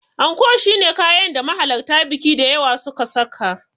Anko shine kayan da mahalarta biki da yawa suka saka.